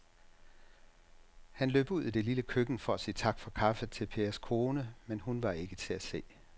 Han løb ud i det lille køkken for at sige tak for kaffe til Pers kone, men hun var ikke til at se.